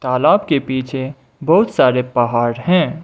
तालाब के पीछे बहुत सारे पहाड़ हैं।